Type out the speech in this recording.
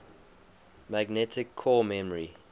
magnetic core memory